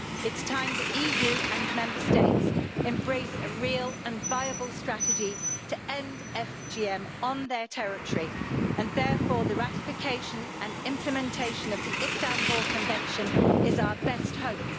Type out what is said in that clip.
It is time the EU and Member States embraced a real and viable strategy to end FGM on their territory, and therefore the ratification and implementation of the Istanbul Convention is our best hope.